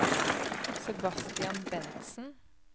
Sebastian Bentsen